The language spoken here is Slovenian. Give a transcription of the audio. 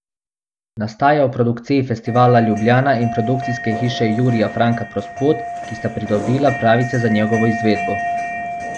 Nastaja v produkciji Festivala Ljubljana in produkcijske hiše Jurija Franka Prospot, ki sta pridobila pravice za njegovo izvedbo.